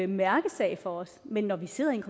mærkesag for os men når vi sidder i en